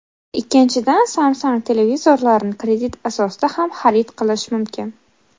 Ikkinchidan, Samsung televizorlarini kredit asosida ham xarid qilish mumkin.